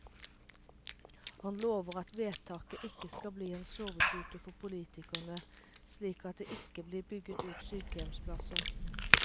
Han lover at vedtaket ikke skal bli en sovepute for politikerne, slik at det ikke blir bygget ut sykehjemsplasser.